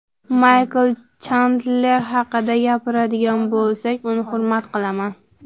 Maykl Chendler haqida gapiradigan bo‘lsak, uni hurmat qilaman.